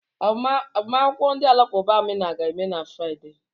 Agbamakwụkwọ ndị Alakụba Amina ga-eme na Fraịde.